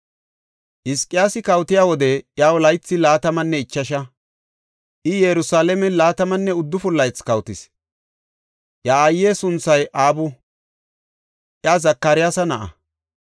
Hizqiyaasi kawotiya wode iyaw laythi laatamanne ichasha; I Yerusalaamen laatamanne uddufun laythi kawotis. Iya aaye sunthay Abu; iya Zakariyasa na7a.